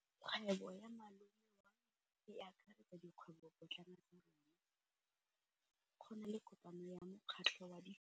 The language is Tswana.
Kgwêbô ya malome wa me e akaretsa dikgwêbôpotlana tsa rona. Go na le kopanô ya mokgatlhô wa ditlhopha tsa boradipolotiki.